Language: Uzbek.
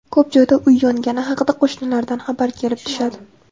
Ko‘p joyda uy yongani haqida qo‘shnilardan xabar kelib tushadi.